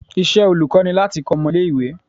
Iṣẹ́ olùkọ́ ni láti kọ́ ọmọ ilé ìwé.